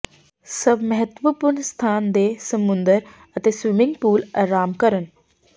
ਸਭ ਮਹੱਤਵਪੂਰਨ ਸਥਾਨ ਦੇ ਸਮੁੰਦਰ ਅਤੇ ਸਵਿਮਿੰਗ ਪੂਲ ਅਰਾਮ ਕਰਨ